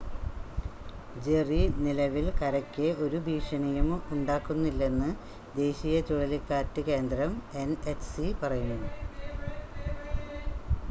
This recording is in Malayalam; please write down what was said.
ജെറി നിലവിൽ കരയ്ക്ക് ഒരു ഭീഷണിയും ഉണ്ടാക്കുന്നില്ലെന്ന് ദേശീയ ചുഴലിക്കാറ്റ് കേന്ദ്രം എൻ‌എച്ച്‌സി പറയുന്നു